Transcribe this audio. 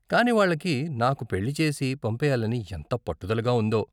కానీ వాళ్ళకి నాకు పెళ్లి చేసి పంపేయాలని ఎంత పట్టుదలగా ఉందో.